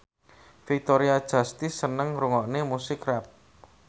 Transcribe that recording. Victoria Justice seneng ngrungokne musik rap